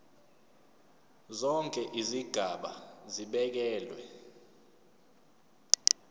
zonke izigaba zibekelwe